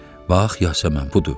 Bax, Yasəmən budur.